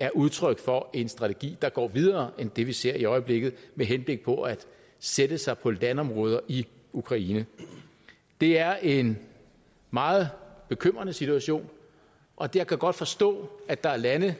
er udtryk for en strategi der går videre end det vi ser i øjeblikket med henblik på at sætte sig på landområder i ukraine det er en meget bekymrende situation og jeg kan godt forstå at der er lande